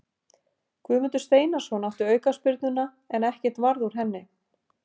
Guðmundur Steinarsson átti aukaspyrnuna en ekkert varð úr henni.